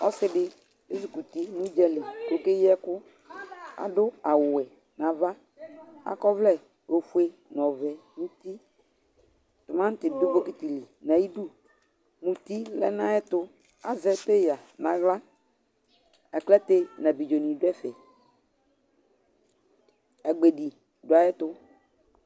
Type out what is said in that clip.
Ɔsι dι, ezikɔ uti, nʋ udzali kʋ oke yi ɛkʋ, adʋ awʋ wɛ nʋ ava kʋ akɔ ɔvlɛ ofue nʋ ɔɔvɛ nʋ uti, tʋmantι dʋ bokiti li nʋ ayι idu, muti lɛ nʋ ayι ɛtʋ, azɛ peya nʋ aɣla, aklate nʋ abidzo nιdʋ ɛfɛ, agbedi dʋ ayι ɛtʋ